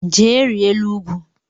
Jee rịa elu ugwu!